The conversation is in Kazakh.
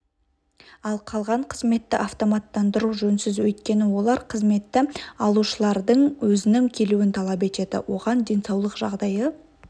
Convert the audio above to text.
ал қалған қызметті автоматтандыру жөнсіз өйткені олар қызметті алушылардың өзінің келуін талап етеді оған денсаулық жағдайы